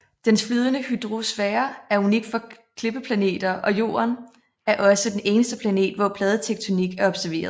Dens flydende hydrosfære er unik for klippeplaneter og Jorden er også den eneste planet hvor pladetektonik er observeret